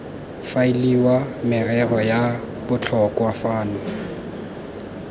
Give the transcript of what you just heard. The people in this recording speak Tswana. faeliwe merero ya botlhokwa fano